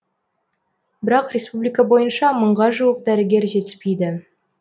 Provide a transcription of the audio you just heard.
бірақ республика бойынша мыңға жуық дәрігер жетіспейді